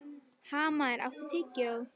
Hamar, áttu tyggjó?